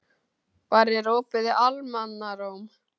Barri, er opið í Almannaróm?